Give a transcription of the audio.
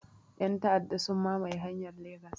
Yan ta'aɗa sun mamaye hanyar Legas